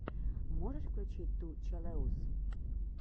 можешь включить ту челэуз